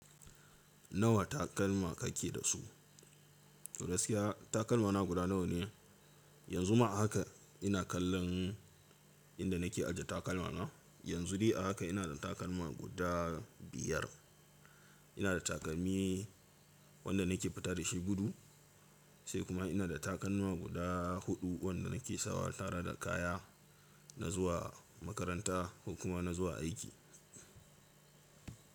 Nawa takalma kake da su? To gaskiya takalmana guda nawa ne? Yanzu ma haka ina kallon inda nake aje takalmana. Yanzu dai a haka ina da takalma guda biyar. Ina da takalmi wanda nake fita da shi gudu, sai kuma ina da takalma guda huɗu wanda nake sawa tare da kaya, na zuwa makaranta, kokuma na zuwa aiki.